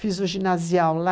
Fiz o ginasial lá.